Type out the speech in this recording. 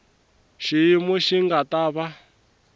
xiyimo xi nga ta va